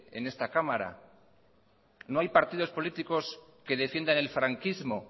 en esta cámara no hay partidos políticos que defiendan el franquismo